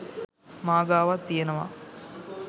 මා ගාවත් තියෙනවා.